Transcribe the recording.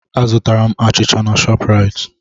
Azutara m achịcha na Shọpraịt.